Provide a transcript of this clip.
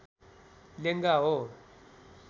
लेङ्गा हो